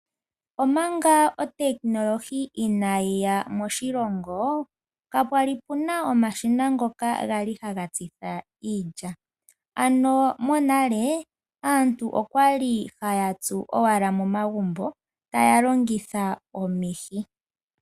Omanga otechnology inayi ya moshilongo kapwali puna omashina ngoka gali haga tsitha iilya, monale aantu okwali haya tsu owala momagumbo taya longitha omihi.